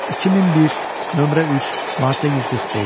2001, nömrə 3, maddə 145.